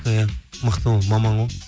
иә мықты ол маман ғой